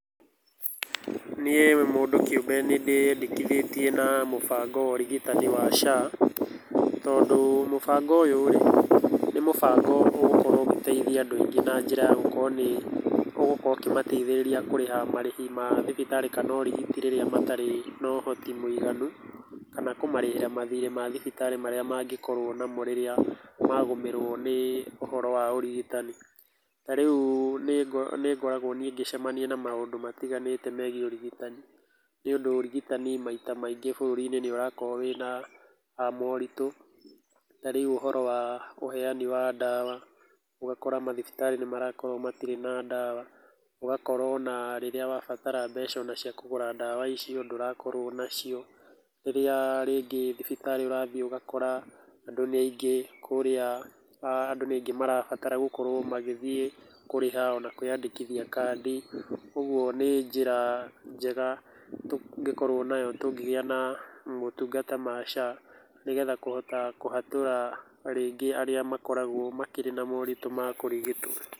Niĩ mũndũ kĩumbe nĩndĩyandĩkithĩtie na mũbango wa ũrigitani wa SHA. Tondũ, mũbango ũyũ rĩ, nĩ mũbango ũgũkorwo ũgĩteithia andũ aingĩ na njĩra ya gũkorwo nĩ ũgũkorwo ũkĩmateithĩrĩria kũrĩha marĩhi ma thibitarĩ kana ũrigiti rĩrĩa matarĩ na ũhoti mũiganu, kana kũmarĩhĩra marĩhi ma thibitarĩ marĩa mangĩkorwo namo rĩrĩa magũmĩrwo nĩ ũhoro wa ũrigitani. Tau rĩu nĩngoragwo niĩ ngĩcamania na maũndũ matiganĩte megiĩ ũrigitani. Nĩundũ ũrigitani maita maingĩ bũrũri-inĩ nĩũrakorwo wĩna morito. Ta rĩu uhoro wa ũheani wa ndawa. Ugakora mathibitarĩ nĩ marakorwo matirĩ na ndawa. Ũgakora ona rĩrĩa wabatara mbeca ona cia kũgũra ndawa icio ndũrakorwo nacio. Rĩrĩa rĩngĩ thibitarĩ ũrathiĩ ũgakora andũ nĩ aingĩ marabatara gũkorwo magĩthiĩ kũrĩha ona kwĩyandĩkithia kandi. Ũguo nĩ njĩra njega tũngĩkorwo nayo tũngĩgia na motungata ma SHA, ni getha kũhota kũhatũra rĩngĩ arĩa makoragwo makĩrĩ na moritũ ma kũrigitwo.